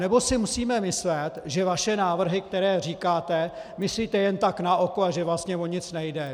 Nebo si musíme myslet, že vaše návrhy, které říkáte, myslíte jen tak na oko a že vlastně o nic nejde.